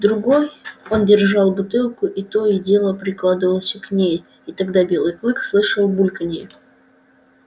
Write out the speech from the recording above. в другой он держал бутылку и то и дело прикладывался к ней и тогда белый клык слышал бульканье